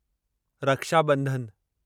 Rakshabandhan